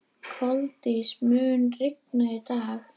Koldís, mun rigna í dag?